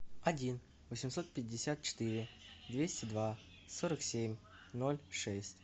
один восемьсот пятьдесят четыре двести два сорок семь ноль шесть